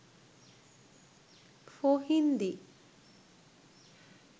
for hindi